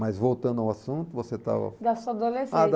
Mas voltando ao assunto, você estava... Da sua adolescência. Ah da